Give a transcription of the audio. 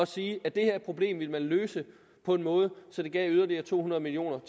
sige at det her problem ville man løse på en måde så det gav yderligere to hundrede million